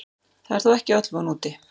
Það er þó ekki öll von úti.